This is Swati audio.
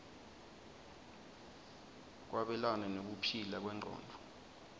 kwabelana nekuphila kwengcondvo